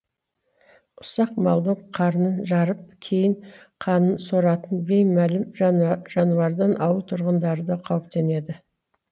ұсақ малдың қарнын жарып кейін қанын соратын беймәлім жануардан ауыл тұрғындары да қауіптенеді